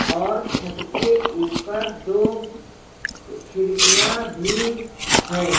और छत के ऊपर दो खिड़कियां भी हैं।